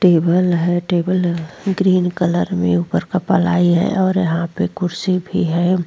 Table है table green colour में ऊपर का पलाई है और यहां पे कुर्सी भी है।